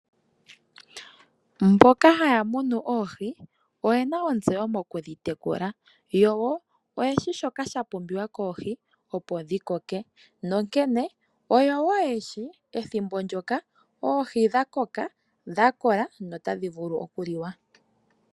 Mboka haya munu oohi oyena ontseyo mokudhi tekula yo oyeshi shoka sha pumbiwa koohi opo dhi koke, nonkene oyo woo yeshi ethimbo ndyoka oohi dha koka, dha kola notadhi vulu okuliwa.